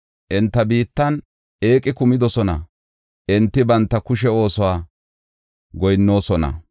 Enta biittan eeqi kumidosona; enti banta kushe oosuwa goyinnoosona.